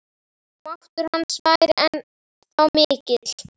Máttur hans væri ennþá mikill.